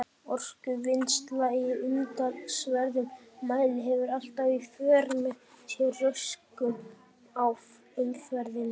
Orkuvinnsla í umtalsverðum mæli hefur alltaf í för með sér röskun á umhverfi.